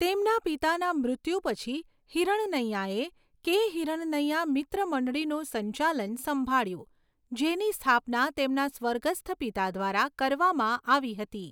તેમના પિતાના મૃત્યુ પછી, હિરણનૈયાએ કે.હિરણનૈયા મિત્ર મંડળીનું સંચાલન સંભાળ્યું, જેની સ્થાપના તેમના સ્વર્ગસ્થ પિતા દ્વારા કરવામાં આવી હતી.